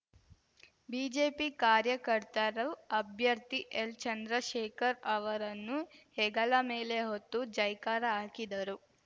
BJP ಕಾರ್ಯಕರ್ತರು ಅಭ್ಯರ್ಥಿ L Chandrashekhar ಅವರನ್ನು ಹೆಗಲ ಮೇಲೆ ಹೊತ್ತು ಜೈಕಾರ ಹಾಕಿದರು